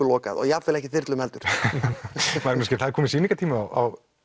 lokað og jafnvel ekki þyrlum heldur Magnús Geir það er kominn sýningatími á